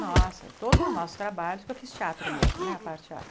Nossa, todos os nossos trabalhos, porque eu fiz teatro mesmo, né, a parte teatro.